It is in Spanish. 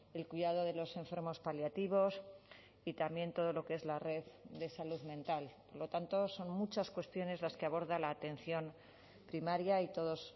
el cuidado de los enfermos paliativos y también todo lo que es la red de salud mental por lo tanto son muchas cuestiones las que aborda la atención primaria y todos